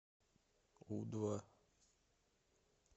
у два